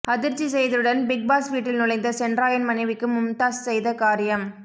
அதிர்ச்சி செய்தியுடன் Bigg Boss வீட்டில் நுழைந்த சென்றாயன் மனைவிக்கு மும்தாஸ் செய்த காரியம்